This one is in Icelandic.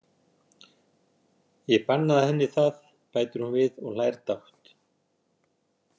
Ég bannaði henni það, bætir hún við og hlær dátt.